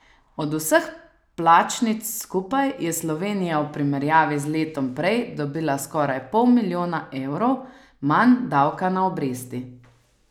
Od vseh plačnic skupaj je Slovenija v primerjavi z letom prej dobila skoraj pol milijona evrov manj davka na obresti.